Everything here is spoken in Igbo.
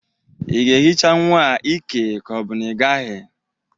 Ị ga-ehicha nwa a ike ka ọ bụ na-ịgaghị?